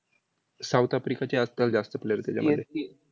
south आफ्रिकाचे आजकाल जास्त player त्याच्यामध्ये